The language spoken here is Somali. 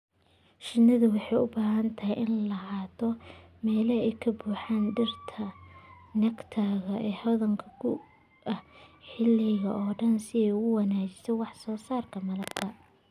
Shinnidu waxay u baahan tahay inay lahaato meelo ay ka buuxaan dhirta nectar-ka hodanka ku ah xilliga oo dhan si ay u wanaajiso wax soo saarka malabka.